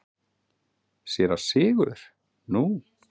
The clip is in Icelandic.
SÉRA SIGURÐUR: Nú?